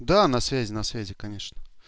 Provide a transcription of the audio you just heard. да на связи на связи конечно